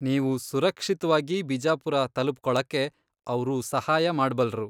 ನೀವು ಸುರಕ್ಷಿತ್ವಾಗಿ ಬಿಜಾಪುರ ತಲುಪ್ಕೊಳಕ್ಕೆ ಅವ್ರು ಸಹಾಯ ಮಾಡ್ಬಲ್ರು.